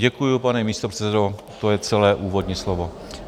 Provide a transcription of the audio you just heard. Děkuju, pane místopředsedo, to je celé úvodní slovo.